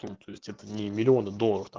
ну то есть это не миллионы долларов там